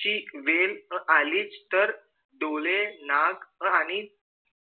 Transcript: जर वेळ आलीच तर डोळे नाक आणि